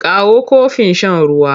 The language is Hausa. Kawo kofin shan ruwa!